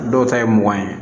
Dɔw ta ye mugan ye